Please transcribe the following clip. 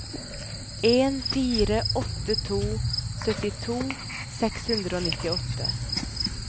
en fire åtte to syttito seks hundre og nittiåtte